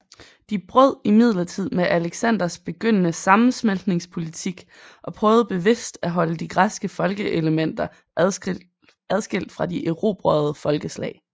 De brød imidlertid med Alexanders begyndende sammensmeltningspolitik og prøvede bevidst at holde de græske folkeelementer adskilt fra de erobrede folkeslag